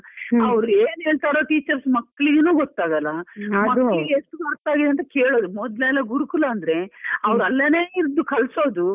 Hour ಏನ್ ಹೇಳ್ತಾರೋ teachers ಮಕ್ಕಳಿಗೂನು ಗೊತ್ತಾಗಲ್ಲ ಮಕ್ಕಳಿಗೆ ಎಷ್ಟು ಗೊತ್ತಾಗಿದೆ ಅಂತ ಕೇಳೋರು . ಮೊದ್ಲೆಲ್ಲಾ ಗುರುಕುಲ ಅಂದ್ರೆ ಅವರಲ್ಲೇನೇ ಇದ್ದು ಕಲಿಸೋದು.